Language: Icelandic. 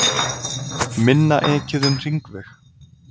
Minna ekið um hringveg